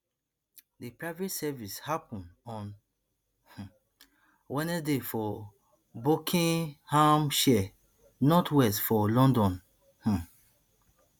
di private service happun on um wednesday for buckinghamshire northwest for london um